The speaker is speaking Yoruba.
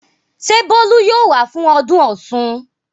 Ṣé Bólú yóò wá fún ọdún Ọ̀ṣun?